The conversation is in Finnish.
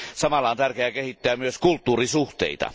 Samalla on tärkeää kehittää myös kulttuurisuhteita.